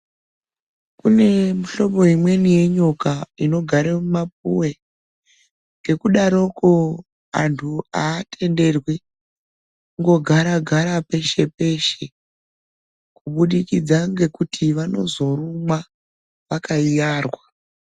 Kune mihlobo imweni yenyoka inogare mumapuve. Ngekudaroko antu haatenderwi kungogara-gara peshe-peshe, kubudikidza ngekuti vanozoumwa vakayiyarwa.